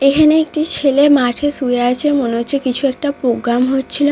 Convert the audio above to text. এখানে একটি ছেলে মাঠে শুয়ে আছে মনে হচ্ছে কিছু একটা প্রোগ্রাম হচ্ছিল।